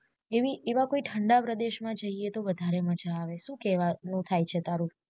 એવી એવા કોય ઠંડા પ્રદેશ મા જઈએ તો વધારે મજા આવે શુ કેવાનુ થાય છે તારુ